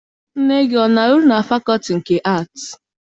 Nne gị ana arụ na fakọọtị nke Aatị?